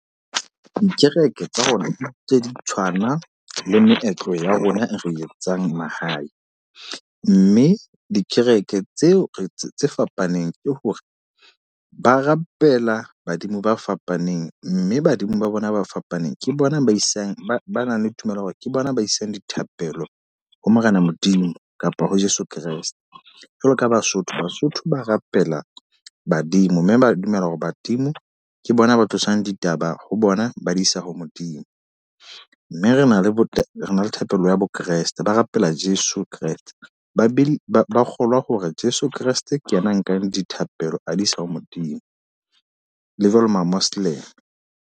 Dikereke tsa rona tse di tshwana le meetlo ya rona e re etsang mahae. Mme dikereke tseo tse fapaneng ke hore, ba rapela badimo ba fapaneng. Mme badimo ba bona ba fapaneng ke bona ba isang ba nang le tumelo ya hore ke bona ba isang dithapelo ha Morena Modimo kapa ho Jeso Kreste. Jwalo ka Basotho, Basotho ba rapela badimo. Mme ba dumela hore badimo ke bona ba tlosang ditaba ho bona, ba di isa ho Modimo. Mme re na le bo thapelo ya bo Kreste. Ba rapela Jeso Kreste. Ba be ba ba kgolwa hore Jeso Kreste ke yena nkang dithapelo a di isa ho Modimo. Le jwale ma-Moslem.